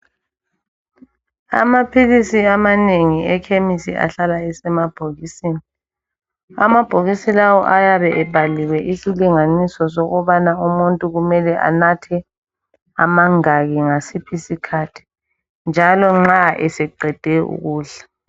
Amaphilisi amanengi ekhemisi ahlala esemabhokisini ,amabhokisi lawo ayabe ebhaliwe isilinganiso sokubana umuntu mele enathe amangaki ngasiphi isikhathi njalo nxa eseqede ukudla.